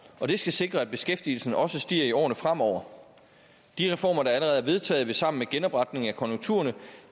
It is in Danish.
skal sikre at beskæftigelsen også stiger i årene fremover de reformer der allerede er vedtaget vil sammen med genopretning af konjunkturerne